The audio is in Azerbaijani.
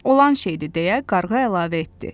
Olan şeydir, deyə qarğa əlavə etdi.